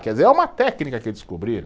Quer dizer, é uma técnica que descobriram.